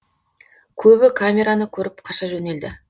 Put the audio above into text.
көбі камераны көріп қаша жөнелді